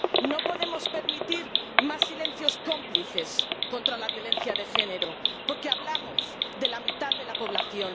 No podemos permitir más silencios cómplices contra la violencia de género, porque hablamos de la mitad de la población.